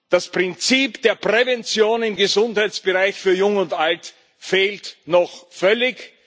Das Prinzip der Prävention im Gesundheitsbereich für Jung und Alt fehlt noch völlig.